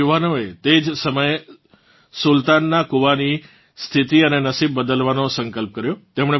આ યુવાનોએ તે જ સમયે સુલતાનનાં કૂવાની સ્થિતી અને નસીબ બદલવાનો સંકલ્પ કર્યો